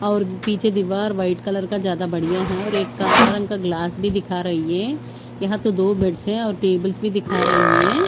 और पीछे दीवार व्हाइट कलर का ज्यादा बढ़िया है और एक काला रंग का ग्लास भी दिख रही है यहां तो दो बेड्स और टेबल्स भी दिख रही है।